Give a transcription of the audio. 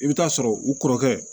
I bɛ taa sɔrɔ u kɔrɔkɛ